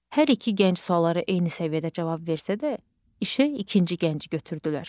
Hər iki gənc suallara eyni səviyyədə cavab versə də, işə ikinci gənci götürdülər.